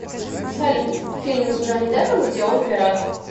салют фильмы с джонни дэпом где он пират